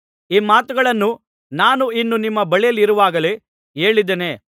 ಈ ಮಾತುಗಳನ್ನು ನಾನು ಇನ್ನೂ ನಿಮ್ಮ ಬಳಿಯಲ್ಲಿರುವಾಗಲೇ ಹೇಳಿದ್ದೇನೆ